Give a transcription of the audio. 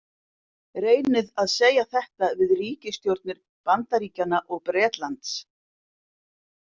Reynið að segja þetta við ríkisstjórnir Bandaríkjanna og Bretlands!